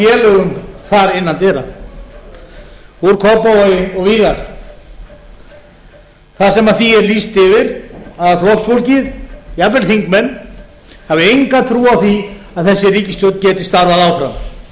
félögum þar innan dyra úr kópavogi og víðar þar sem því er lýst yfir að flokksfólkið jafnvel þingmenn hafi enga trú á því að þessi ríkisstjórn geti starfað